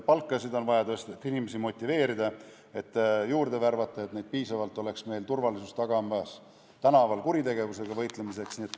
Palkasid on vaja tõsta, et inimesi motiveerida ja neid juurde värvata, et neid oleks piisavalt meie turvalisust tagamas, tänaval kuritegevuse vastu võitlemas.